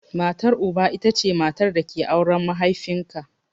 Matar Uba ita ce matar da ke auren mahaifin ka.